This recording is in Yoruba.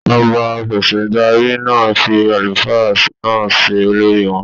Ọba Afẹ̀sìndarí náà fí àlùfáà náà se olórí wọn.